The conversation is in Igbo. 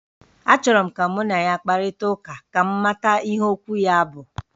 Achọrọ m ka mụ na ya kparịta ụka, ka m mata ihe okwu ya bụ